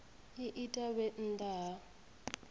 i ita vhe nnḓa ha